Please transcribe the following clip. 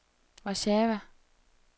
Warszawa